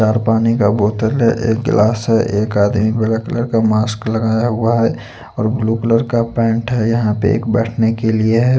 चार पानी का बोतल है एक गिलास है एक आदमी ब्लैक कलर का मास्क लगाया हुआ है और ब्लू कलर का पैंट है यहां पे एक बैठने के लिए है।